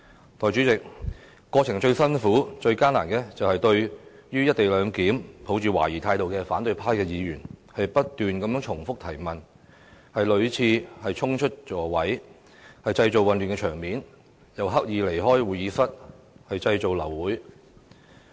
代理主席，過程中最難以應付的，是對"一地兩檢"抱懷疑態度的反對派議員，他們不斷重複提問，屢次衝出座位，製造混亂場面，更刻意離開會議室，意圖製造流會等。